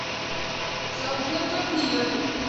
саутгемптон ливер